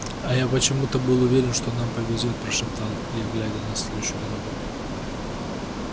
а я почему-то был уверен что нам повезёт прошептал я глядя на стелющуюся дорогу